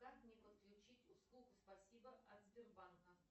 как мне подключить услугу спасибо от сбербанка